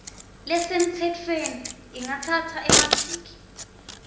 lesemtsetfweni ingatsatsa emaviki